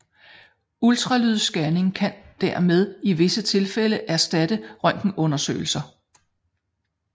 Ultralydsscanning kan dermed i visse tilfælde erstatte røntgenundersøgelser